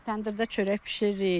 Təndirdə çörək bişiririk.